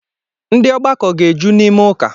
Ndi ogbako ga-eju n’ime uka